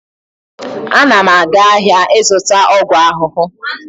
Ana m aga ahịa ịzụta ọgwụ ahụhụ.